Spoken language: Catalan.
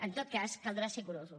en tot cas caldrà ser curosos